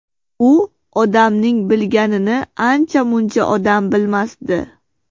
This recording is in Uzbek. U odamning bilganini ancha-muncha odam bilmasdi.